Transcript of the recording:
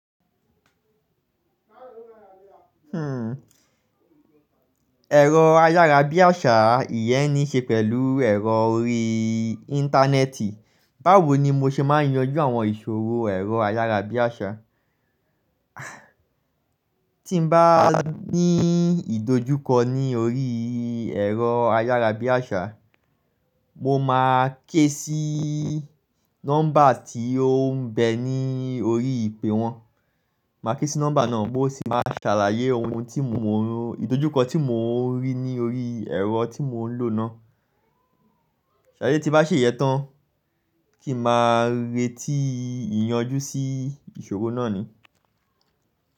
Ẹ̀rọ ayárabíàṣá ìyẹ́n nì ṣe pẹ̀lú ẹ̀rọ orí Íńtánẹ́ẹ̀tì. Báwo ni mo ṣe máa ń yanjú àwọn ìṣòro ẹ̀rọ ayárabíàṣá? Tí n bá ní ìdojúkọ ní orí ẹ̀rọ ayárabíàṣá, mo máa ké sí nọ́mbà tí ó ń bẹ ní orí ìpè wọn. Máa ké sí nọ́mbà náà mó si máa ṣàlàyé ohun tí mo ọ́n, ìdojúkọ tí mò ń rí ní orí ẹ̀rọ tí mò ń lò náà. Seri ti n bá ṣe ìyẹ́tán, kí ma rèé tí ìyanjú sí ìṣòro náà ni.